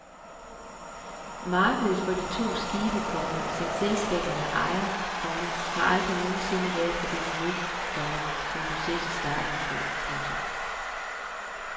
Markedet for de to skibe, komma som selskaberne ejer, komma har aldrig nogen sinde været på det niveau, komma som budgettet startede på. punktum